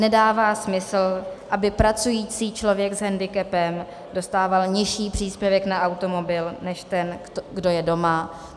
Nedává smysl, aby pracující člověk s hendikepem dostával nižší příspěvek na automobil než ten, kdo je doma.